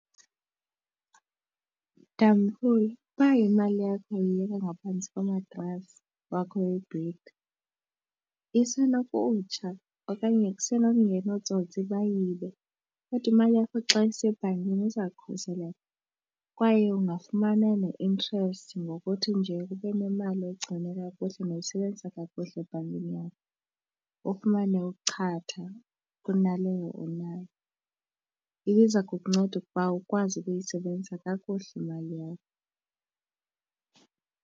Tamkhulu uba imali yakho uyibeka ngaphantsi komatrasi wakho webhedi isenokutshona okanye kuse nokungena ootsotsi bayibe kodwa imali yakho xa isebhankini iza khuseleka kwaye ungafumana ne-interest ngokuthi nje ube nemali uyigcine kakuhle nowuyisebenzisa kakuhle ebhankini yakho. Ufumane uchatha kunaleyo onayo, ibiza kukunceda ukuba ukwazi ukuyisebenzisa kakuhle imali yakho.